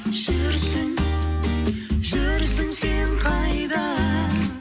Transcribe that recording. жүрсің жүрсің сен қайда